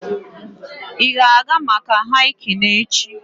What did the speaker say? Ị ga-aga maka hiking echi?